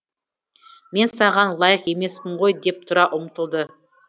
мен саған лайық емеспін ғой деп тұра ұмтылды